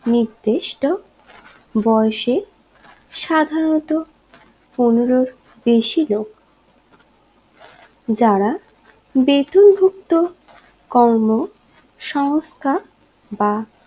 নির্দিষ্ট বয়েসে সাধারণত পনেরোর বেশি লোক যারা বেতন ভুক্ত কর্ম সংস্থা বা